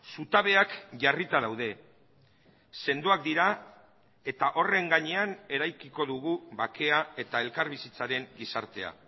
zutabeak jarrita daude sendoak dira eta horren gainean eraikiko dugu bakea eta elkarbizitzaren gizartea